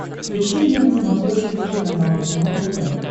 включи мне на смотрешке телеканал кино тв